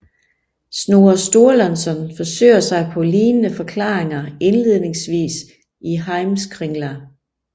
Snorre Sturlason forsøger sig på lignende forklaringer indledningsvis i Heimskringla